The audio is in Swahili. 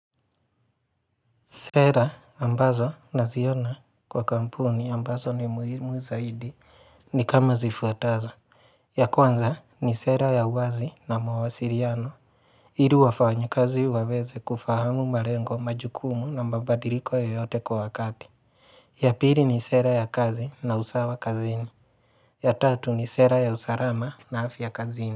Sera ambazo na ziona kwa kampuni ambazo ni muhimu zaidi ni kama zifuatazo: ya kwanza ni sera ya uwazi na mawasiriano ili wafanyu kazi waweze kufahamu malengo majukumu na mabadiliko yoyote kwa wakati. Ya pili ni sera ya kazi na usawa kazini ya tatu ni sera ya usarama na afya kazini.